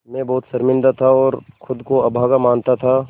मैं बहुत शर्मिंदा था और ख़ुद को अभागा मानता था